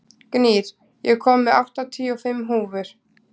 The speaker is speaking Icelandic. Gnýr, ég kom með áttatíu og fimm húfur!